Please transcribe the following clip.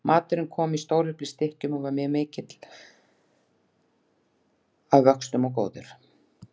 Maturinn kom í stóreflis stykkjum og var mikill að vöxtum og góður.